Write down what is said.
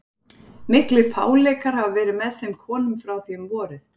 Miklir fáleikar hafa verið með þeim konum frá því um vorið.